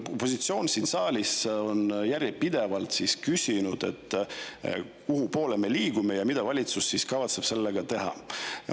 Opositsioon on siin saalis järjepidevalt küsinud, kuhupoole me liigume ja mida kavatseb valitsus sellega teha.